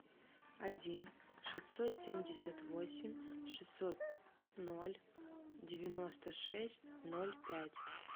один шестьсот семьдесят восемь шестьсот ноль девяносто шесть ноль пять